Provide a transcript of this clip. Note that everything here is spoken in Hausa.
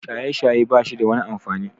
Shaye-shaye bashida wani amfani.